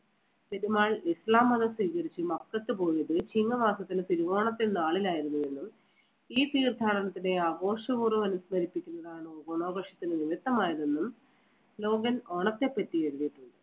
പെരുമാൾ ഇസ്ലാം മതം സ്വീകരിച്ച് മക്കത്ത് പോയത് ചിങ്ങമാസത്തിലെ തിരുവോണത്തിൻ നാളിലായിരുന്നു എന്നും ഈ തീർത്ഥാടനത്തിനെ ആഘോഷപൂർവ്വം അനുസ്മരിപ്പിക്കുന്നതാണ് ഓണാഘോഷത്തിന് നിമിത്തമായതെന്നും ലോഗൻ ഓണത്തെപ്പറ്റി എഴുതുന്നു.